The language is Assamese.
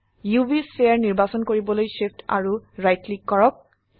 উভ স্ফিয়াৰ নিৰ্বাচন কৰিবলৈ Shift আৰু ৰাইট ক্লিক কৰক